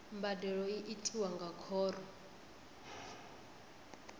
mbadelo i tiwa nga khoro